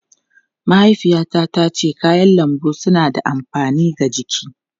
Mahaifiyata tace kayan lambu suna da amfani ga jiki.